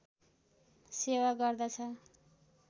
सेवा गर्दछ